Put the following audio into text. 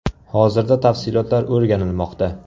Hozirda tafsilotlar o‘rganilmoqda.